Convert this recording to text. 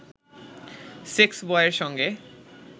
সেক্সবয়ের সঙ্গে